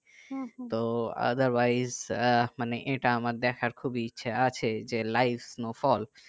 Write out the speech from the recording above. তো otherwise আহ মানে এটা আমার দেখার খুব ইচ্ছে আছে যে live snowfall